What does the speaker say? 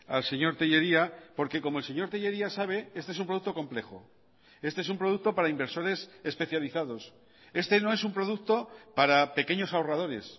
al señor tellería porque como el señor tellería sabe este es un producto complejo este es un producto para inversores especializados este no es un producto para pequeños ahorradores